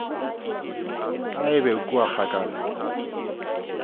a e be kua kgakala